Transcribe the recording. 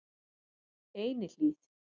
Einihlíð